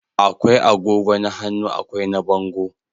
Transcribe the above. akwai agogo na hannu akwai na bango